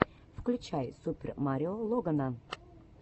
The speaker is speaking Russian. включай супер марио логана